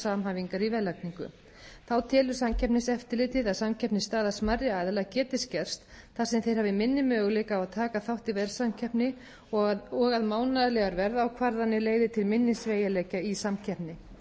samhæfingar í verðlagningu þá telur samkeppniseftirlitið að samkeppnisstaða smærri aðila geti skerst þar sem þeir hafi minni möguleika á að taka þátt í verðsamkeppni og að mánaðarlegar verðákvarðanir leiði til minni sveigjanleika í samkeppni